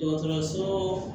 Dɔgɔtɔrɔso